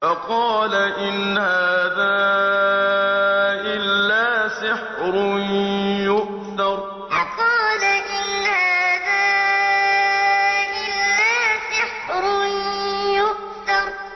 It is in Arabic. فَقَالَ إِنْ هَٰذَا إِلَّا سِحْرٌ يُؤْثَرُ فَقَالَ إِنْ هَٰذَا إِلَّا سِحْرٌ يُؤْثَرُ